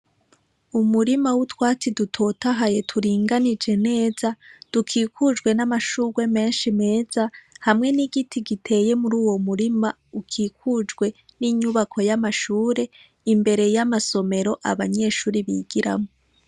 Umurima w'utwatsi dutotahaye, turinganije neza, dukikujwe n'amashurwe menshi meza, hamwe n'igiti giteye muri uwo murima, ukikujwe n'inyubako y'amashure, imbere y'amasomero abanyeshure bigiramwo.